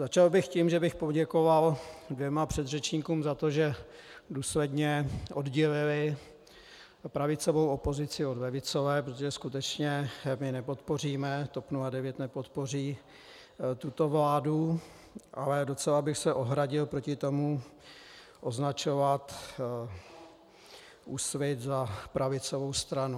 Začal bych tím, že bych poděkoval dvěma předřečníkům za to, že důsledně oddělili pravicovou opozici od levicové, protože skutečně my nepodpoříme, TOP 09 nepodpoří tuto vládu, ale docela bych se ohradil proti tomu označovat Úsvit za pravicovou stranu.